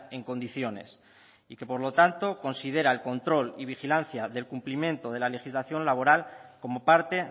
en condiciones y que por lo tanto considera el control y vigilancia del cumplimiento de la legislación laboral como parte